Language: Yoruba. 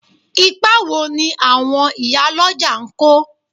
Ipa wo ni àwọn ìyálọ́jà ń kó?